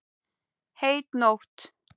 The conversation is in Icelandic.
Heit nótt.